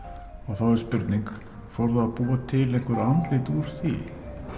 þá er spurning fór það að búa til einhver andlit úr því